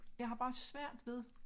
Jeg har bare svært ved